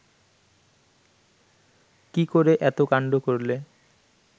কি করে এত কান্ড করলে